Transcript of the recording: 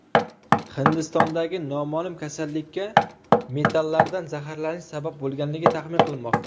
Hindistondagi noma’lum kasallikka metallardan zaharlanish sabab bo‘lganligi taxmin qilinmoqda.